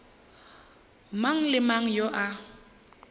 mang le mang yo a